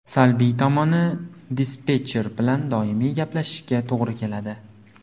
Salbiy tomoni dispetcher bilan doimiy gaplashishga to‘g‘ri keladi.